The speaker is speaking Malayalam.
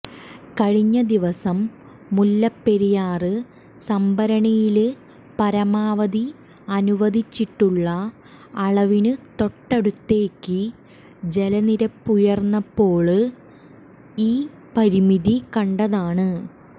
കഴിഞ്ഞ ദിവസം മുല്ലപ്പെരിയാര് സംഭരണിയില് പരമാവധി അനുവദിച്ചിട്ടുള്ള അളവിനു തൊട്ടടുത്തേക്ക് ജലനിരപ്പുയര്ന്നപ്പോള് ഈ പരിമിതി കണ്ടതാണ്